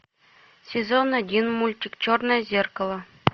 сезон один мультик черное зеркало